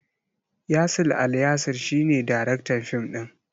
Yasir Alyasir shi ne daraktan fim din.